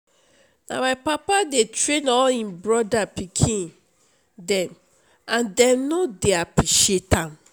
na my papa dey train all im brother pikin dem and dem no dey appreciate am